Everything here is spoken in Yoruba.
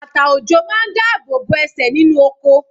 Bàtà ọ̀jọ̀ máa dá ààbò bo ẹsẹ̀ nínú oko